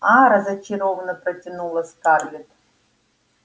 а-а разочарованно протянула скарлетт